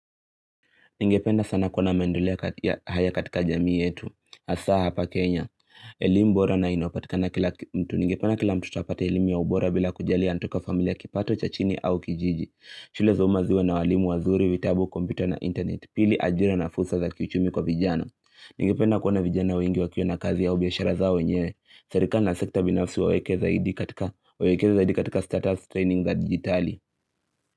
Ningependa sana kuona maendeleo haya katika jamii yetu, hasa hapa Kenya, elimu bora na inayopatikana kila mtu. Ningependa kila mtoto apate elimu ya ubora bila kujalia anatoka familia kipato cha chini au kijiji. Shule za umaziwe na walimu wazuri vitabu kompyuta na internet, pili ajira na fursa za kiuchumi kwa vijana. Ningependa kuona vijana wengi wakiwa na kazi au biashara zao wenyewe, serikali na sekta binafsi waweke zaidi katika status training za digitali.